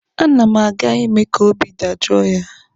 A na m aga ime ka obi dajoo ya.